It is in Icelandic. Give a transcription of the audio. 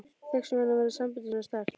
Þess vegna væri sambandið svona sterkt.